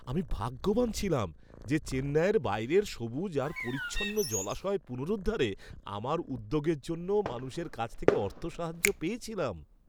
আমি ভাগ্যবান ছিলাম যে চেন্নাইয়ের বাইরের সবুজ আর পরিচ্ছন্ন জলাশয় পুনরুদ্ধারে আমার উদ্যোগের জন্য মানুষের কাছ থেকে অর্থসাহায্য় পেয়েছিলাম।